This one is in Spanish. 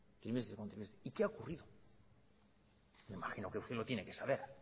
y qué ha ocurrido me imagino que usted lo tiene que saber